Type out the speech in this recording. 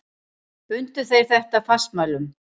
Bundu þeir þetta fastmælum.